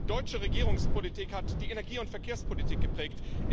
Deutsche Regierungspolitik hat die Energie und Verkehrspolitik geprägt.